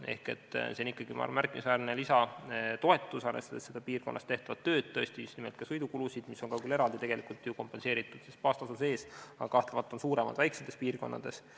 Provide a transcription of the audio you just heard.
See on ikkagi märkimisväärne lisatoetus, arvestades tõesti seda piirkonnas tehtavat tööd ja just nimelt ka sõidukulusid, mis on küll eraldi tegelikult kompenseeritud baastasu sees, aga kahtlemata on suuremad väiksemates piirkondades.